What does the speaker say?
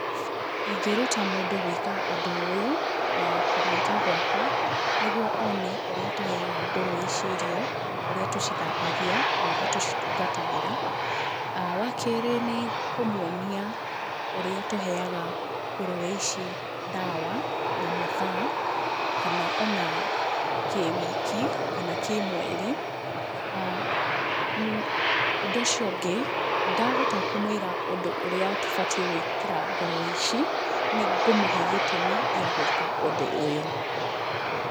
Ingĩruta mũndũ kũruta ũndũ ũyũ na kũmũĩta gwakwa nĩ guo oone ũrĩa tũheaga ngũrũwe ici irio, ũrĩa tũcithambagia, na ũrĩa tũcitungatagira. Wa kerĩ nĩ kũmuonia ũrĩa tũheaga ngũruwe ici ndawa na mathaa, kana ona kĩwiki kana kĩmweri, ũndũ ũcio ũngĩ ndahota kũmwĩra ũndũ ũrĩa tũbatiĩ gũĩkĩra ngũrũwe ici nĩ ngũmũhe gĩtũmi gĩa gũĩka ũndũ ũyũ.